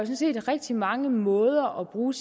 set rigtig mange måder at bruge